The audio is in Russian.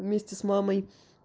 вместе с мамой